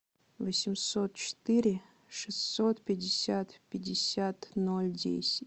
восемьсот четыре шестьсот пятьдесят пятьдесят ноль десять